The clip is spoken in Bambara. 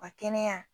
Ka kɛnɛya